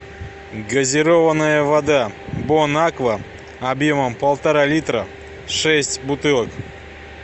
газированная вода бонаква объемом полтора литра пять бутылок